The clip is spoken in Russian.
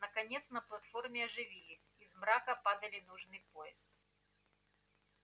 наконец на платформе оживились из мрака падали нужный поезд